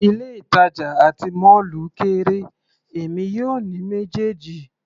Ilé ìtàjà àti mọ́ọ́lù kéré, èmi yóò ní méjèèjì.